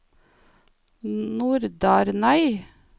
Nordarnøy